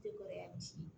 Te kɔrɔya di